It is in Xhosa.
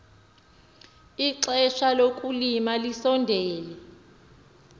ixesha lokulima lisondele